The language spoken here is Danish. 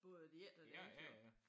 Både det ene og det andet jo